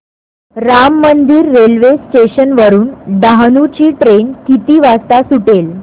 Ram Mandir railway station वरुन डहाणू ची train किती वाजता सुटेल